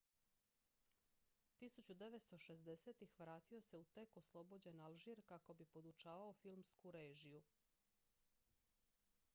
1960-ih vratio se u tek oslobođen alžir kako bi podučavao filmsku režiju